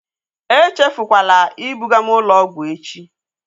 Echefukwala ibuga m ụlọ ọgwụ echi!